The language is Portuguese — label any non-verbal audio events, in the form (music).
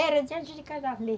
Era de antes de casar, (unintelligible)